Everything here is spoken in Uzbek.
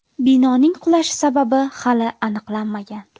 Binoning qulashi sababi hali aniqlanmagan.